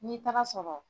N'i taara sɔrɔ